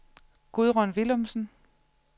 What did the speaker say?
Gudrun Villumsen